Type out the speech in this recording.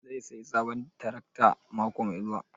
Zai sayi sabon tarakta mako mai zuwa?